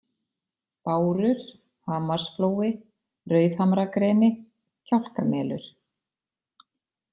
Bárur, Hamarsflói, Rauðhamragreni, Kjálkamelur